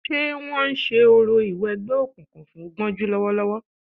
Ṣé wọ́n ń ṣe orò ìwẹgbẹ́ òkùnkùn fún Gbọ́njú lọ́wọ́lọ́wọ́